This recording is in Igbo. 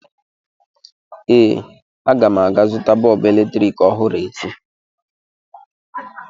Ee, aga m aga zụta bọọbụ eletrik ọhụrụ echi.